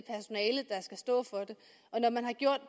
og når man har gjort